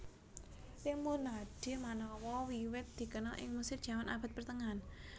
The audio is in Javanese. Lemonade manawa wiwit dikenal ing Mesir jaman abad pertengahan